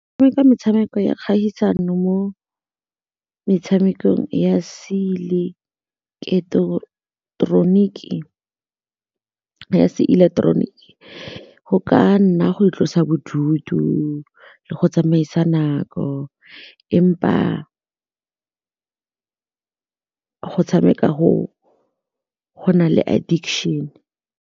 Tshameka metshameko ya kgaisano mo metshamekong ya ya seileketeroniki go ka nna go itlosa bodutu le go tsamaisa nako empa go tshameka go na le addiction.